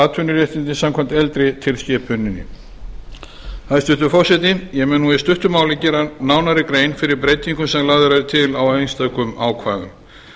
atvinnuréttindi samkvæmt eldri tilskipuninni hæstvirtur forseti ég mun nú í stuttu máli gera nánari grein fyrir breytingum sem lagðar eru til á einstökum ákvæðum